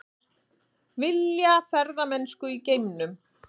Vilja ferðamennsku í geimnum